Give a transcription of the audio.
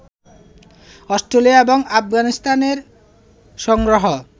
Australia ও আফগানিস্তানের সংগ্রহ